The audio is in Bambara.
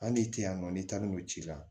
Hali n'i tɛ yan nɔ n'i taar'o ci la